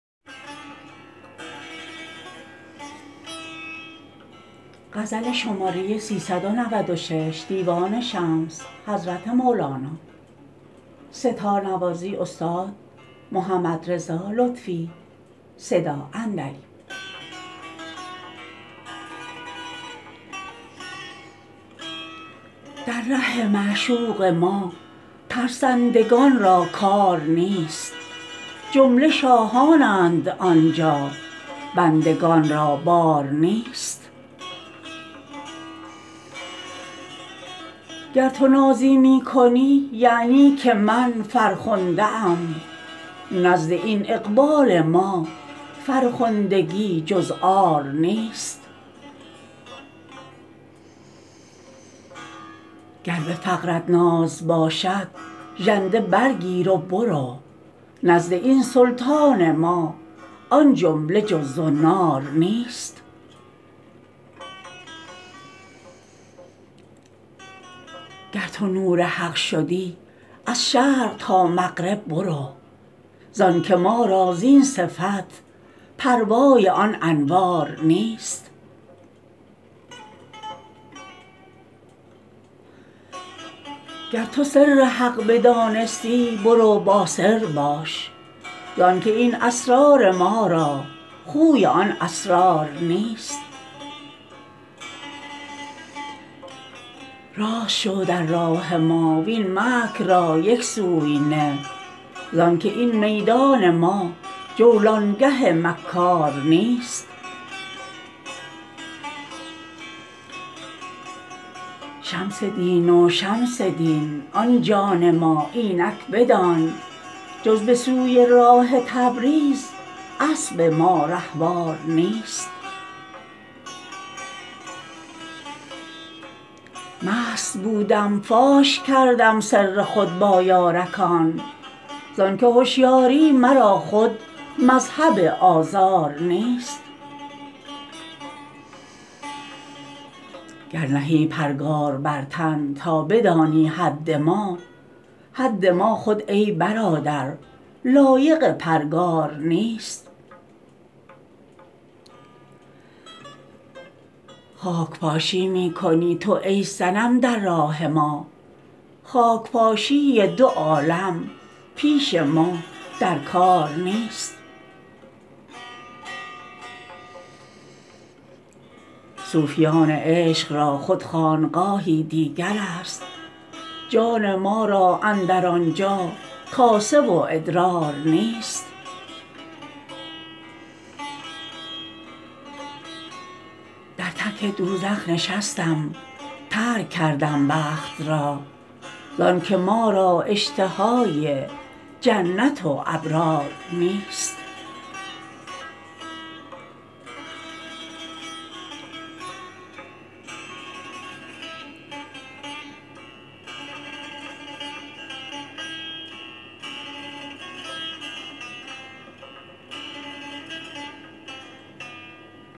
در ره معشوق ما ترسندگان را کار نیست جمله شاهانند آن جا بندگان را بار نیست گر تو نازی می کنی یعنی که من فرخنده ام نزد این اقبال ما فرخندگی جز عار نیست گر به فقرت ناز باشد ژنده برگیر و برو نزد این سلطان ما آن جمله جز زنار نیست گر تو نور حق شدی از شرق تا مغرب برو زانک ما را زین صفت پروای آن انوار نیست گر تو سر حق بدانستی برو با سر بباش زانک این اسرار ما را خوی آن اسرار نیست راست شو در راه ما وین مکر را یک سوی نه زان که این میدان ما جولانگه مکار نیست شمس دین و شمس دین آن جان ما اینک بدان جز به سوی راه تبریز اسب ما رهوار نیست مست بودم فاش کردم سر خود با یارکان زانک هشیاری مرا خود مذهب آزار نیست گر نهی پرگار بر تن تا بدانی حد ما حد ما خود ای برادر لایق پرگار نیست خاک پاشی می کنی تو ای صنم در راه ما خاک پاشی دو عالم پیش ما در کار نیست صوفیان عشق را خود خانقاهی دیگر است جان ما را اندر آن جا کاسه و ادرار نیست در تک دوزخ نشستم ترک کردم بخت را زانک ما را اشتهای جنت و ابرار نیست